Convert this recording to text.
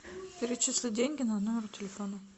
перечисли деньги на номер телефона